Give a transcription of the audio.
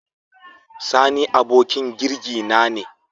Sani abokin jirgi na ne.